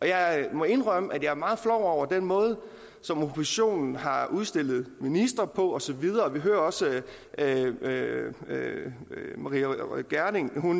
jeg må indrømme at jeg er meget flov over den måde som oppositionen har udstillet ministre på og så videre vi hører også at maria reumert gjerding